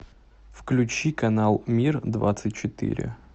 включи канал мир двадцать четыре